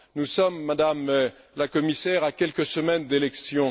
Nous sommes, Madame la Commissaire, à quelques semaines des élections.